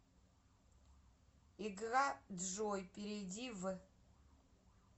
игра джой перейди в